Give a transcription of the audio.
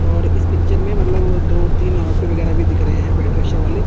और इस पिक्चर में मतलब दो तीन ऑटो वैगरह भी दिख रहे हैं रिक्शावाले।